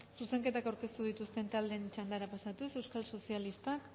zuzenketak aurkeztu dituzten taldeen txandara pasatuz euskal sozialistak